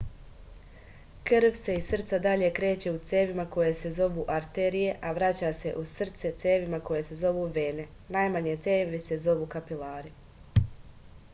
krv se iz srca dalje kreće u cevima koje se zovu arterije a vraća se u srce cevima koje se zovu vene najmanje cevi se zovu kapilari